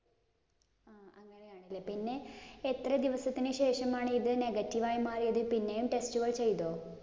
അങ്ങനെയാണ് അല്ലേ? പിന്നെ എത്ര ദിവസത്തിനുശേഷമാണ് ഇത് negative ആയി മാറിയത് പിന്നെ test കള്‍ ചെയ്തോ?